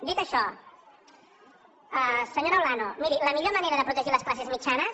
dit això senyora olano miri la millor manera de protegir les classes mitjanes